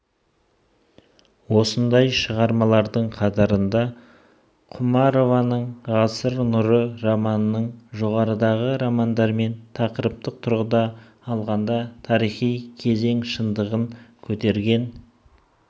осындай шығармалардың қатарында құмарованың ғасыр нұры романының жоғарыдағы романдармен тақырыптық тұрғыда алғанда тарихи кезең шындығын көтерген